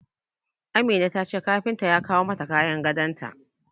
Amina ta ce kafinta ya kawo mata kayan gadon ta.